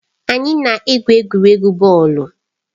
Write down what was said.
Anyị na-egwu egwuregwu bọọlụ.